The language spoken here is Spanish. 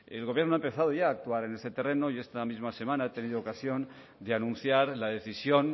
el gobierno ha empezado ya a actuar en ese terreno y esta misma semana he tenido ocasión de anunciar la decisión